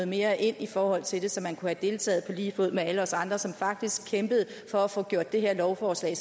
mere ind i forhold til det så man kunne have deltaget på lige fod med alle os andre som faktisk kæmpede for at få gjort det her lovforslag